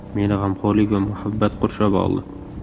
Meni g‘amxo‘rlik va muhabbat qurshab oldi.